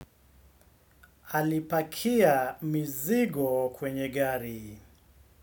Alipakia mizigo kwenye gari.